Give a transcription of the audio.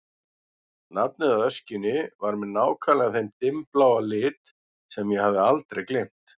Nafnið á öskjunni var með nákvæmlega þeim dimmbláa lit sem ég hafði aldrei gleymt.